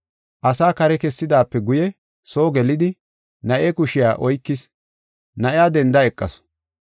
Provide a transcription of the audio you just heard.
Asaa kare kessidaape guye soo gelidi, na7e kushiya oykis, na7iya denda eqasu.